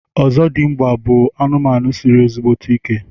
ọzọdịmgba bụ anụmanụ siri ezigbo ike.